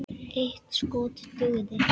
Eitt skot dugði.